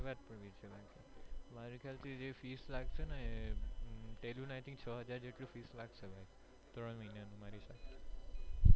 મારા ખ્યાલ થી જે fees લાગશે ને એ છ હજાર જેટલું fees લાગશે ભાઈ ત્રણ મહિના નું મારી હિસાબ થી.